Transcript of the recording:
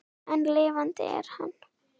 En lifandi er hann.